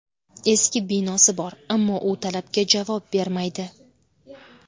Eski binosi bor, ammo u talabga javob bermaydi.